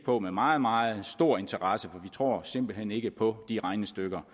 på med meget meget stor interesse for tror simpelt hen ikke på de regnestykker